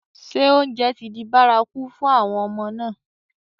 Ṣé oúnjẹ ti di bárakú fún àwọn ọmọ náà?